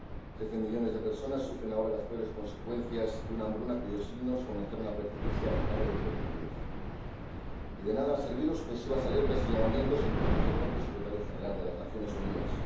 Trece millones de personas sufren ahora las peores consecuencias de una hambruna cuyos signos comenzaron a percibirse a finales del 2010 y de nada han servido sucesivas alertas y llamamientos, entre otros, del propio Secretario General de las Naciones Unidas.